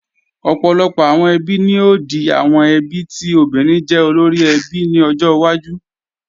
Ọ̀pọ̀lọpọ̀ àwọn ẹbí ni ó di àwọn ẹbí tí obìnrin jẹ́ olóríẹbí ní ọjọ́ wájú